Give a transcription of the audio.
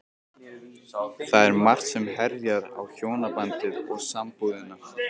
Það er margt sem herjar á hjónabandið og sambúðina.